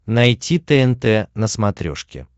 найти тнт на смотрешке